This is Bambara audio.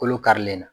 Kolo karilen na